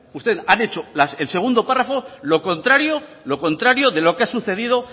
ustedes han hecho el segundo párrafo lo contrario de lo que ha sucedido